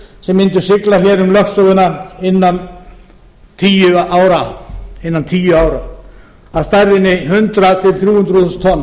skip mundu sigla hér um lögsöguna innan tíu ára af stærðinni hundrað til þrjú hundruð þúsund